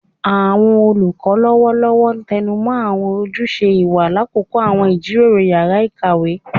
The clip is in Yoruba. Awọn olukọ lọwọlọwọ tẹnumọ awọn ojuse iwa lakoko awọn ijiroro yara ikawe